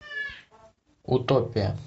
утопия